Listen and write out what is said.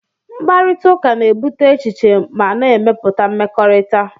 Mkparịta ụka na-ebute echiche ma na-emepụta mmekọrịta